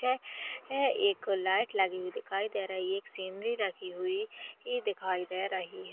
ए ए एक लाइट लगी हुई दिखाई दे रही एक सीनरी रखी हुई ई दिखाई दे रही--